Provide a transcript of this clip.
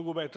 on lõppenud.